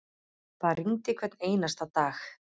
Það rigndi hvern einasta dag.